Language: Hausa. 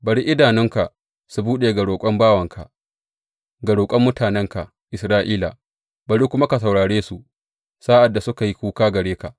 Bari idanunka su buɗe ga roƙon bawanka, ga roƙon mutanenka Isra’ila, bari kuma ka saurare su sa’ad da suka yi kuka gare ka.